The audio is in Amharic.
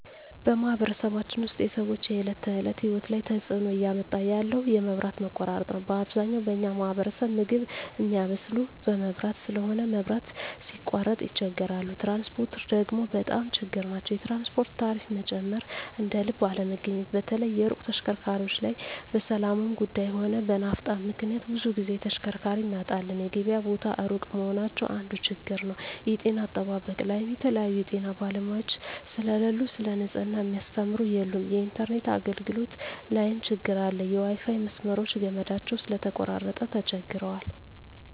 በማኅበረሰባችን ውስጥ የሰዎች የዕለት ተእለት ህይወት ላይ ትጽእኖ እያመጣ ያለው የመብት መቆራረጥ ነዉ አብዛኛው በኛ ማህበረሰብ ምግብ ሚያበስል በመብራት ስለሆነ መብራት ሲቃረጥ ይቸገራሉ ትራንስፖርት ደግሞ በጣም ችግር ናቸዉ የትራንስፖርት ታሪፋ መጨመር እደልብ አለመገኘት በተለይ የሩቅ ተሽከርካሪዎች ላይ በሠላሙም ጉዱይ ሆነ በናፍጣ ምክንያት ብዙ ግዜ ተሽከርካሪ እናጣለን የገበያ ቦታ እሩቅ መሆናቸው አንዱ ችግር ነዉ የጤና አጠባበቅ ላይም የተለያዩ የጤና ባለሙያዎች ስለሉ ሰለ ንጽሕና ሚያስተምሩ የሉም የኢንተርነት አገልግሎት ላይም ትግር አለ የዋይፋይ መስመሮች ገመዳቸው ስለተቆራረጠ ተቸግረዋል